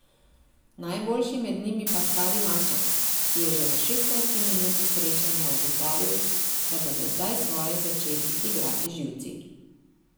Najboljši med njimi pa stari maček, ki je že v šestnajsti minuti srečanja ugotovil, da bodo zdaj svoje začeli igrati živci.